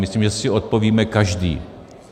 Myslím, že si odpovíme každý.